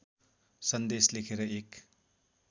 सन्देश लेखेर एक